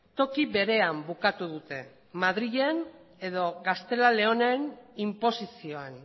toki berean bukatu dute madrilen edo gaztela leonen inposizioan